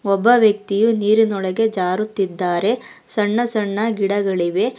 ಒಬ್ಬ ವ್ಯಕ್ತಿ ನೀರಿನೊಳಗೆ ಜಾರುತ್ತಿದ್ದಾರೆ ಸಣ್ಣ ಸಣ್ಣ ಗಿಡಗಳಿವೆ.